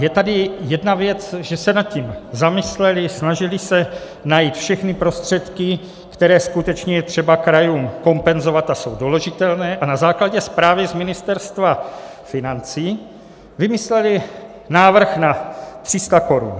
Je tady jedna věc, že se nad tím zamysleli, snažili se najít všechny prostředky, které skutečně je třeba krajům kompenzovat a jsou doložitelné, a na základě zprávy z Ministerstva financí vymysleli návrh na 300 korun.